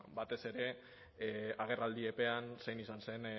batez ere agerraldi epean zein izan zen